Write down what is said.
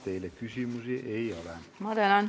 Teile küsimusi ei ole.